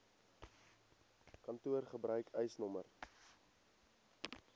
kantoor gebruik eisnr